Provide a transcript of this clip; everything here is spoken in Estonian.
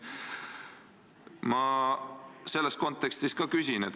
Ma selles kontekstis ka küsin.